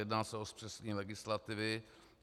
Jedná se o zpřesnění legislativy.